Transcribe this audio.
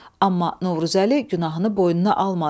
Amma Novruzəli günahını boynuna almadı.